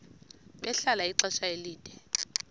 bahlala ixesha elide